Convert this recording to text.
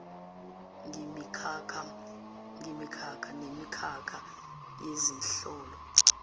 ngemikhakha nemikhakha yezihloko